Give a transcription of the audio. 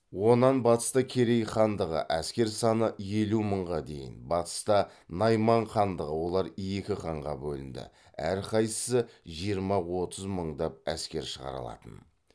онан батыста керей хандығы әскер саны елу мыңға дейін батыста найман хандығы олар екі ханға бөлінді әр қайсысы жиырма отыз мыңдап әскер шығара алатын